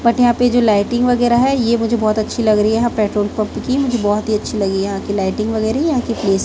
but यहाँ पे जो लाइटिंग वगैरा है ये मुझे बहोत अच्छी लग रही है यहाँ पेट्रोल पंप कि मुझे बहोत ही अच्छी लगी है यहाँ की लाइटिंग वगैरा यहाँ की प्लेस --